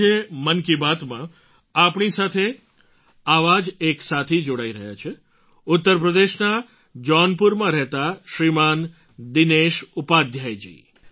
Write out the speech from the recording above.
આજે મન કી બાતમાં આપણી સાથે આવા જ એક સાથી જોડાઈ રહ્યા છે ઉત્તર પ્રદેશના જૌનપુરમાં રહેતા શ્રીમાન દિનેશ ઉપાધ્યાય જી